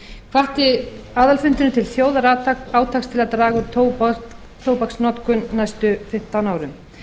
hvatti aðalfundurinn til þjóðarátaks til að draga úr tóbaksnotkun á næstu fimmtán árum